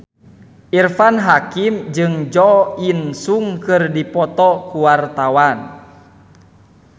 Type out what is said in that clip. Irfan Hakim jeung Jo In Sung keur dipoto ku wartawan